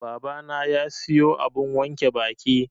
Babana ya siyo abun wanke baki.